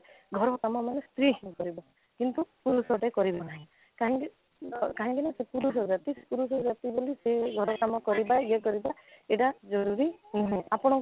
ଘର କାମ ମାନେ ସ୍ତ୍ରୀ ହିଁ କରିବ କିନ୍ତୁ ପୁରୁଷଟେ କରିବା ନାହିଁ କାହିଁକି କାହିଁକି ନା ସେ ପୁରୁଷ ଜାତି ପୁରୁଷ ଜାତି ବୋଲେ ସେ ଘର କାମ କରିବା ୟେ କରିବା ଏଇଟା ଜରୁରୀ ନୁହେଁ ଆପଣ